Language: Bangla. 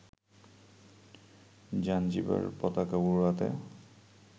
জাঞ্জিবার পতাকা উড়াতে